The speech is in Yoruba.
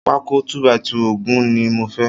Pákó 2 by 2 ogún ni mo fẹ́